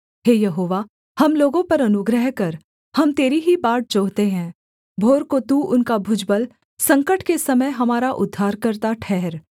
हे यहोवा हम लोगों पर अनुग्रह कर हम तेरी ही बाट जोहते हैं भोर को तू उनका भुजबल संकट के समय हमारा उद्धारकर्ता ठहर